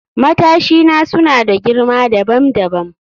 Matashina suna da girma dabam dabam